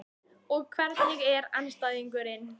Og hvernig var andstæðingurinn?